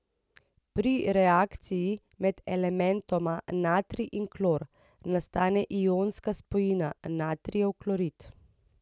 Pri reakciji med elementoma natrij in klor nastane ionska spojina natrijev klorid.